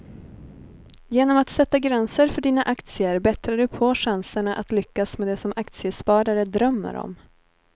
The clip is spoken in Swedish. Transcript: Genom att sätta gränser för dina aktier bättrar du på chanserna att lyckas med det som aktiesparare drömmer om.